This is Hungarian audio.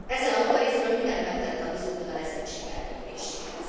Ezzel a maga részéről mindent megtett a vízumkötelezettség eltörléséhez.